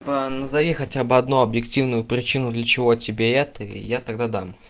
па назови хотя бы одну объективную причину для чего тебе это и я тогда дам